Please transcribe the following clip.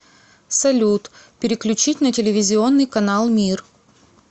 салют переключить на телевизионный канал мир